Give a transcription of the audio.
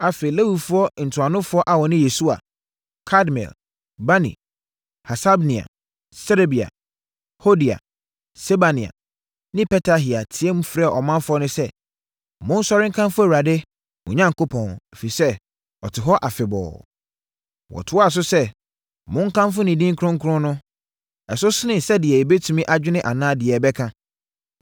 Afei, Lewifoɔ ntuanofoɔ a wɔne Yesua, Kadmiel, Bani, Hasabnia, Serebia, Hodia, Sebania ne Petahia teaam frɛɛ ɔmanfoɔ no sɛ, “Monsɔre nkamfo Awurade, mo Onyankopɔn, ɛfiri sɛ, ɔte hɔ afebɔɔ!” Wɔtoaa so sɛ, “Monkamfo ne din kronkron no. Ɛso sene sɛdeɛ yɛbɛtumi adwene anaa deɛ yɛbɛka.